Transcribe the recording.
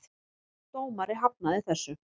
Dómari hafnaði þessu.